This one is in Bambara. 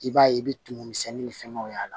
I b'a ye i bɛ tumu misɛnnin ni fɛnw y'a la